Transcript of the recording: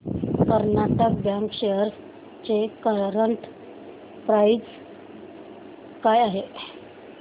Karnataka bank shares ची current price काय आहे